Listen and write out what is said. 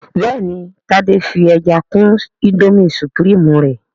béèni Tade fí ẹja kún Indomie supreme rẹ